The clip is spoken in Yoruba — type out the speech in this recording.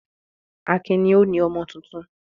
Akin ni ó ni ọmọ tuntun.